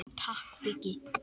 Takk Biggi.